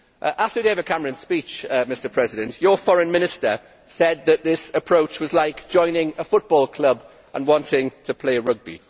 After David Cameron's speech, Mr President, your Foreign Minister said that this approach was like joining a football club and wanting to play rugby.